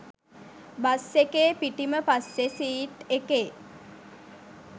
bus එකේ පිටිම පස්සෙ සීට් එකේ